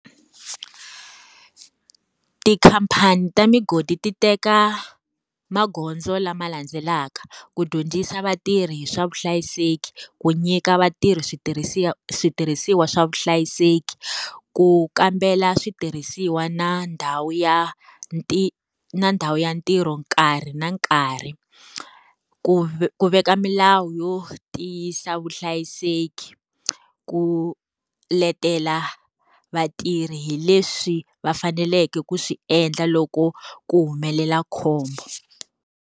Tikhampani ta migodi ti teka magondzo lama landzelaka. Ku dyondzisa vatirhi hi swa vuhlayiseki, ku nyika vatirhi switirhisiwa swa vuhlayiseki, ku kambela switirhisiwa na ndhawu ya na ndhawu ya ntirho nkarhi na nkarhi, ku ku veka milawu yo tiyisisa vuhlayiseki, ku letela vatirhi hi leswi va faneleke ku swi endla loko ku humelela khombo.